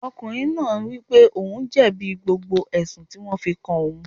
Ọkùnrin náà wípé ohun jẹ̀bi gbogbo ẹ̀sùn tí wón fi kàn án.